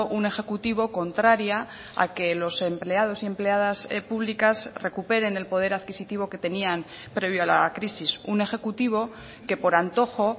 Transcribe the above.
un ejecutivo contraria a que los empleados y empleadas públicas recuperen el poder adquisitivo que tenían previo a la crisis un ejecutivo que por antojo